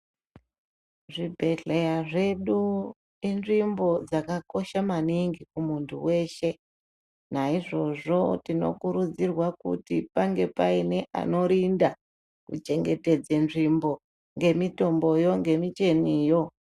Zvibhedhlera zvedu inzvimbo yakakosha maningi kumuntu weshe naizvozvo Tinokurudzirwa kuti pange pane anorinda kuchengetedza nzvimbo nemitomboyo nemecheniyo.